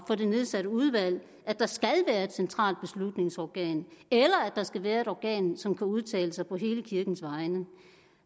for det nedsatte udvalg at der skal være et centralt beslutningsorgan eller at der skal være et organ som kan udtale sig på hele kirkens vegne